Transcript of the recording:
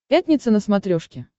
пятница на смотрешке